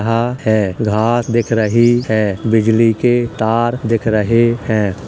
है | घास दिख रही है | बिजली के तार दिख रहे हैं ।